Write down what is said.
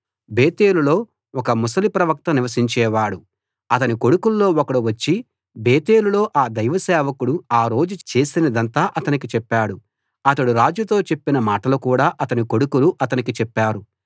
బేతేలులో ఒక ముసలి ప్రవక్త నివసించేవాడు అతని కొడుకుల్లో ఒకడు వచ్చి బేతేలులో ఆ దైవ సేవకుడు ఆ రోజు చేసినదంతా అతనికి చెప్పాడు అతడు రాజుతో చెప్పిన మాటలు కూడా అతని కొడుకులు అతనికి చెప్పారు